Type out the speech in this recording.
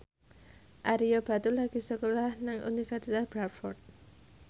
Ario Batu lagi sekolah nang Universitas Bradford